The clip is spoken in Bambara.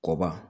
Kɔba